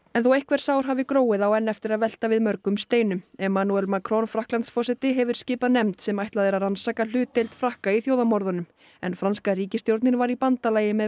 en þó einhver sár hafi gróið á enn eftir að velta við mörgum steinum emmanuel Macron Frakklandsforseti hefur skipað nefnd sem ætlað er að rannsaka hlutdeild Frakka í þjóðarmorðunum en franska ríkisstjórnin var í bandalagi með